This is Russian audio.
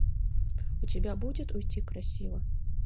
у тебя будет уйти красиво